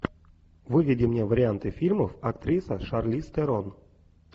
выведи мне варианты фильмов актриса шарлиз терон